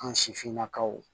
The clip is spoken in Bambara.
An sifinnakaw